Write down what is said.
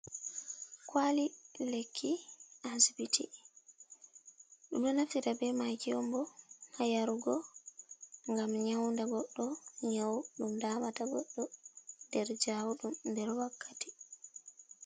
"Kwali lekki "asibit ɗum ɗo naftira be making on bo ngam ha yarugo ngam nyaundu go goddo nyau ɗum damata goddo nder jau ɗum nder wakkati.